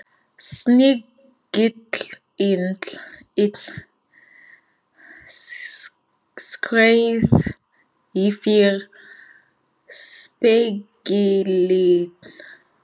Snigillinn skreið yfir spegilinn.